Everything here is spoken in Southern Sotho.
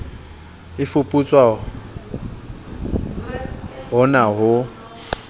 e fuputswa ho na ho